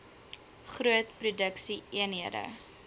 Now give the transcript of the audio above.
groot produksie eenhede